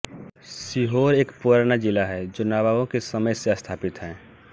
सीहोर एक पुराना जिला है जो नवाबों के समय से स्थापित है